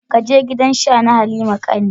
Je gidan Sha na Halima ka ni.